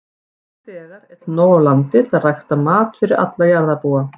Nú þegar er til nóg af landi til að rækta mat fyrir alla jarðarbúa.